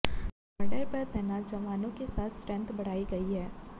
border पर तैनात जवानों के साथ स्ट्रेंथ बढ़ाई गई है